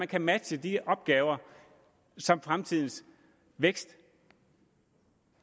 kan matche de opgaver som fremtidens vækst